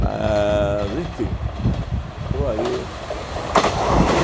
Mas, enfim, estou aí.